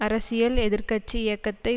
அரசியல் எதிர் கட்சி இயக்கத்தை